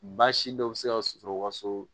Ba si dɔ bɛ se ka susu waso